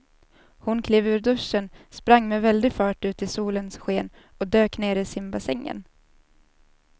Hon klev ur duschen, sprang med väldig fart ut i solens sken och dök ner i simbassängen.